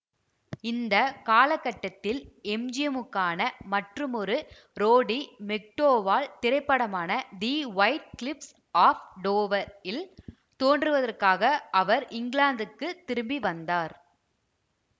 இந்த காலகட்டத்தில் எம்ஜிஎம்முக்கான மற்றுமொரு ரோடி மெக்டோவால் திரைப்படமான the White Cliffs of Dover இல் தோன்றுவதற்காக அவர் இங்கிலாந்துக்குத் திரும்பிவந்தார்